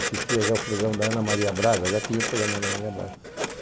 Assistia já o programa da Ana Maria Braga, já tinha o programa da Ana Maria Braga.